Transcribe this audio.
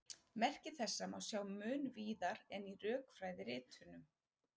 Merki þessa má sjá mun víðar en í rökfræðiritunum.